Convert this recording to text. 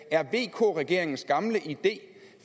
er vk regeringens gamle idé